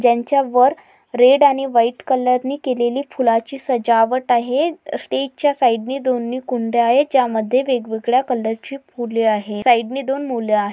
ज्यांच्या वर रेड आणि व्हाइट कलर ने केलेले फुलाची सजावट आहे. स्टेज च्या साइड ने दोन कुंडया आहेत. ज्या मधे वेगवेगळया कलर चे फुले आहेत. साइड ने दोन मुल आहेत.